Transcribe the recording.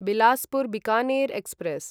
Bilaspur Bikaner express